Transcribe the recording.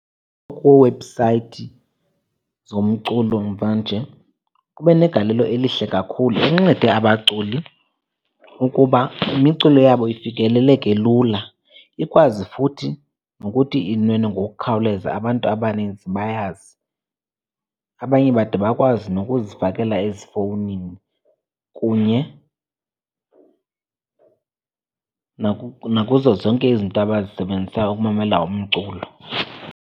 Kwiiwebhusayithi zomculo mvanje kube negalelo elihle kakhulu, incede abaculi ukuba imiculo yabo ifikeleleke lula, ikwazi futhi nokuthi inwenwe ngokukhawuleza abantu abaninzi bayazi. Abanye bade bakwazi nokuzifakela ezifowunini kunye nakuzo zonke izinto abazisebenzisa ukumamela umculo.